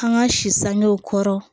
An ka si sanŋɔw kɔrɔ